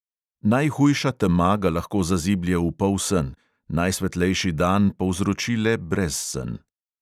Najhujša tema ga lahko zaziblje v polsen, najsvetlejši dan povzroči le brezsen.